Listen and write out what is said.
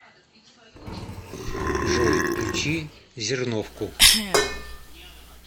джой включи зерновку